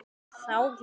Það er í allra þágu.